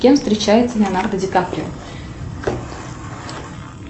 с кем встречается леонардо ди каприо